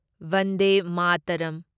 Vande Mataram